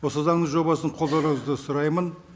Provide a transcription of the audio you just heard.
осы заңның жобасын қолдауларыңызды сұраймын